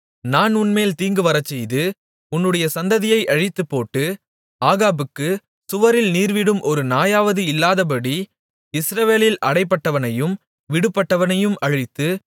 நான் உன்மேல் தீங்கு வரச்செய்து உன்னுடைய சந்ததியை அழித்துப் போட்டு ஆகாபுக்கு சுவரில் நீர்விடும் ஒரு நாயாவது இல்லாதபடி இஸ்ரவேலில் அடைபட்டவனையும் விடுபட்டவனையும் அழித்து